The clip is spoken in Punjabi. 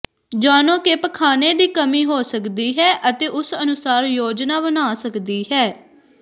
ਜਾਣੋ ਕਿ ਪਖਾਨੇ ਦੀ ਕਮੀ ਹੋ ਸਕਦੀ ਹੈ ਅਤੇ ਉਸ ਅਨੁਸਾਰ ਯੋਜਨਾ ਬਣਾ ਸਕਦੀ ਹੈ